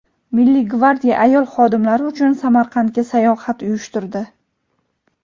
Milliy gvardiya ayol xodimlari uchun Samarqandga sayohat uyushtirdi.